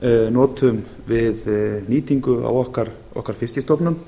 notum við nýtingu á okkar fiskstofnum